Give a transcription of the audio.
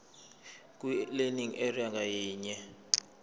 kwilearning area ngayinye